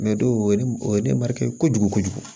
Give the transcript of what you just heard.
o ye ne o ye ne mariya kojugu kojugu ye